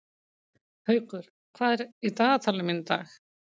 Haukur, hvað er í dagatalinu mínu í dag?